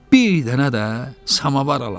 Bir dənə də samavar alaram.